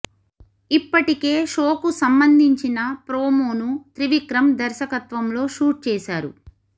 ఇప్పటికే షో కు సంబంధించిన ప్రోమోను త్రివిక్రమ్ దర్శకత్వంలో షూట్ చేశారు